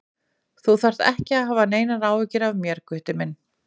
Þú þarft ekki að hafa neinar áhyggjur af mér, Gutti minn.